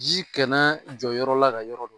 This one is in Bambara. Ji kɛnɛ jɔ yɔrɔ la ka yɔrɔ